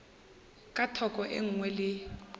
ka thoko e nngwe le